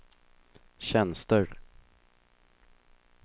tjänster